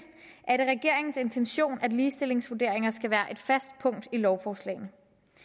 er det regeringens intention at ligestillingsvurderinger skal være et fast punkt i lovforslagene